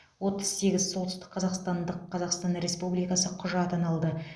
отыз сегіз солтүстік қазақстандық қазақстан республикасы құжатын алды